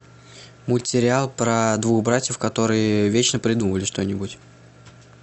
мультсериал про двух братьев которые вечно придумывали что нибудь